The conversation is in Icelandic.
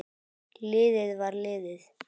Liðið var liðið.